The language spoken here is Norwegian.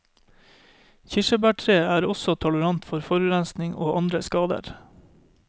Kirsebærtreet er også tolerant for forurensing og andre skader.